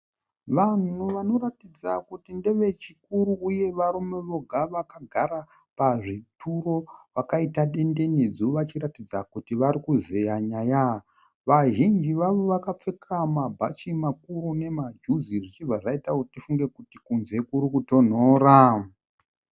Vanhu vanoratidza kuti ndevechikuru uye varume voga vakagara pazvituro vakaita dendenedzu vachiratidza kuti varikuzeya nyaya. Vazhinji vavo vakapfeka mabhachi makuru nemajuzi zvichibva zvaitawo kuti tifunge kuti kunze kurikutonhora.